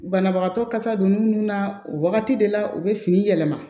Banabagatɔ kasa donni minnu na o wagati de la u bɛ fini yɛlɛma